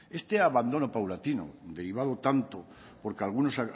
este abandono paulatino derivado tanto porque algunos